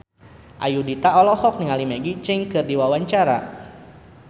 Ayudhita olohok ningali Maggie Cheung keur diwawancara